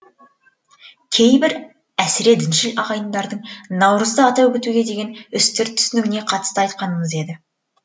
кейбір әсіре діншіл ағайындардың наурызды атап өтуге деген үстірт түсінігіне қатысты айтқанымыз еді